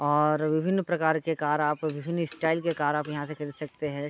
और विभिन्न प्रकार के कार आप विभिन्न स्टाइल के कार आप यहाँ से खरीद सकते हैं।